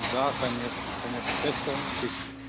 да конечно конечно пять с половиной тысяч